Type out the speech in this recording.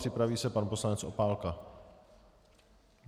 Připraví se pan poslanec Opálka.